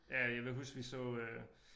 Ja jeg kan huske vi så øh